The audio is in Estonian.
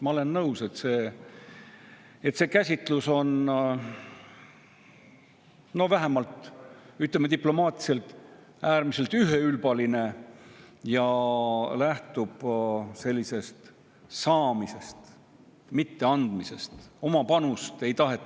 Ma olen nõus, et see käsitlus on, ütleme diplomaatiliselt, äärmiselt üheülbaline ja lähtub sellisest saamise, mitte andmise.